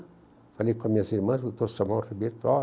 Falei com as minhas irmãs, Dr. Samuel Ribeiro falou ó